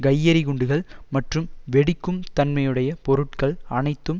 கையெறிகுண்டுகள் மற்றும் வெடிக்கும் தன்மையுடைய பொருட்கள் அனைத்தும்